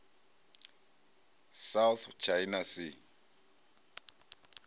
south china sea